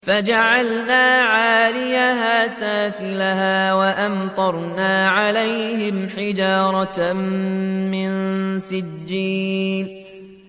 فَجَعَلْنَا عَالِيَهَا سَافِلَهَا وَأَمْطَرْنَا عَلَيْهِمْ حِجَارَةً مِّن سِجِّيلٍ